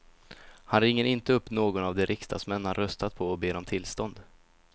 Han ringer inte upp någon av de riksdagsmän han röstat på och ber om tillstånd.